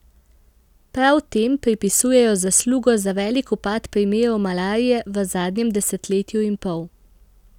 Prav tem pripisujejo zaslugo za velik upad primerov malarije v zadnjem desetletju in pol.